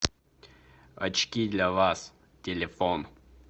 очки для вас телефон